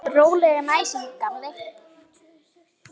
Rólegan æsing, gamli!